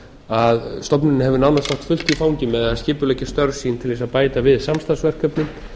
að stofnunin hefur nánast átt fullt í fangi með að skipuleggja störf sín til þess að bæta við samstarfsverkefnum